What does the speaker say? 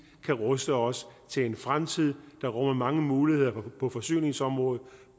kan ruste os til en fremtid der rummer mange muligheder på forsyningsområdet